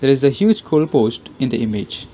there is a huge goal post in the image.